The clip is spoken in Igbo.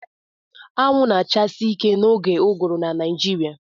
Anwụ na-achasi ike n'oge ụgụrụ na Naịjirịa